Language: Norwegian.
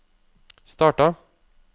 starta